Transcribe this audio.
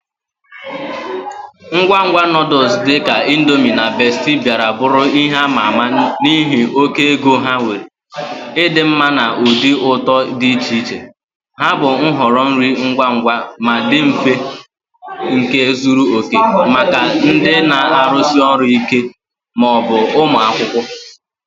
Ngwa ngwa noodles dị ka Indomie na Bestie bịara bụrụ ihe ama ama n'ihi oke ego ha nwere, ịdị mma na ụdị ụtọ dị iche iche. Ha bụ nhọrọ nri ngwa ngwa ma dị mfe nke zuru oke maka ndị na-arụsi ọrụ ike ma ọ bụ ụmụ akwụkwọ.